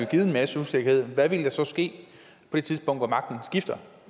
givet en masse usikkerhed for hvad ville der så ske på det tidspunkt hvor magten skiftede